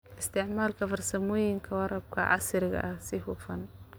Isticmaal farsamooyinka waraabka casriga ah si hufan.